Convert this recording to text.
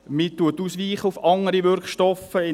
man weicht auf andere Wirkstoffe aus.